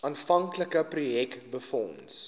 aanvanklike projek befonds